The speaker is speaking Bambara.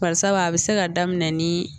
Barisabu a bɛ se ka daminɛ ni